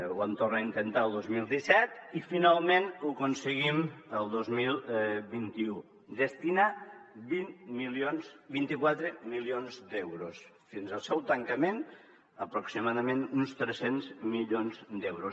ho vam tornar a intentar el dos mil disset i finalment ho aconseguim el dos mil vint u destinar hi vint quatre milions d’euros fins al seu tancament aproximadament uns tres cents milions d’euros